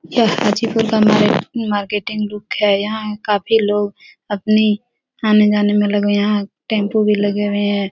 यह हाजी पुर का market marketing look है। यहाँ काफी लोग अपनी आने-जाने में लगे है। यहाँ टेम्पो भी लगे हुए है।